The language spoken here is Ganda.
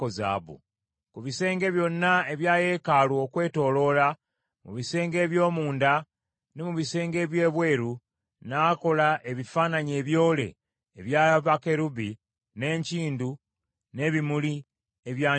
Ku bisenge byonna ebya yeekaalu okwetooloola, mu bisenge eby’omunda, ne mu bisenge eby’ebweru, n’akola ebifaananyi ebyole ebya bakerubi, n’enkindu, n’ebimuli ebyanjulukuse.